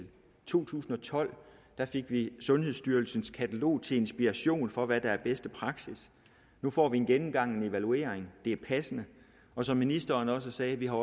to tusind og tolv fik vi sundhedsstyrelsens katalog til inspiration for hvad der er bedste praksis nu får vi en gennemgang en evaluering det er passende og som ministeren også sagde har